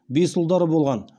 бес ұлдары болған